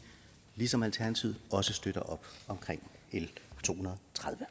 ligesom alternativet også støtter op omkring l tohundrede